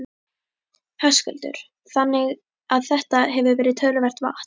Höskuldur: Þannig að þetta hefur verið töluvert vatn?